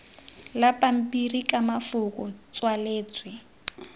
la pampiri ka mafoko tswaletswe